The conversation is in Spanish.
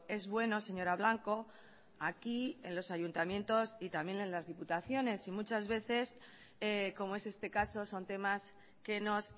es bueno señora blanco aquí en los ayuntamientos y también en las diputaciones y muchas veces como es este caso son temas que nos